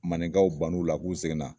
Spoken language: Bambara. Maninkaw ban'u la k'u seginna